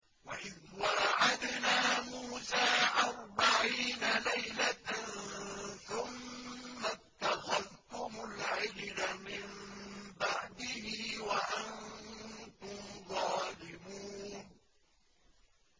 وَإِذْ وَاعَدْنَا مُوسَىٰ أَرْبَعِينَ لَيْلَةً ثُمَّ اتَّخَذْتُمُ الْعِجْلَ مِن بَعْدِهِ وَأَنتُمْ ظَالِمُونَ